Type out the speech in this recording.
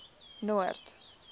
noord